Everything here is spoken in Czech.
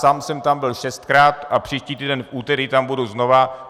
Sám jsem tam byl šestkrát a příští týden v úterý tam budu znova.